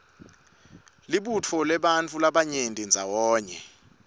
tibutselabantifu labarayenti ndzawanye